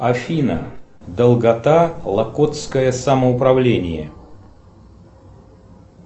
афина долгота локотское самоуправление